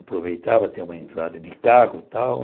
Aproveitava ter uma entrada de e tal.